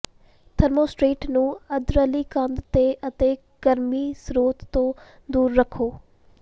thermostat ਨੂੰ ਅੰਦਰਲੀ ਕੰਧ ਤੇ ਅਤੇ ਗਰਮੀ ਸਰੋਤ ਤੋਂ ਦੂਰ ਰੱਖੋ